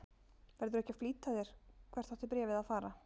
Verðurðu ekki að flýta þér. hvert átti bréfið að fara?